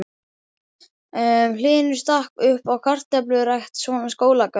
Hlynur stakk uppá kartöflurækt, svona Skólagörðum.